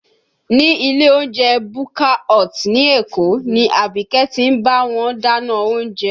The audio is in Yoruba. Ní ilé oúnjẹ Bukka Hut ní Èkó ni Abike ti ń bá wọn dáná oúnjẹ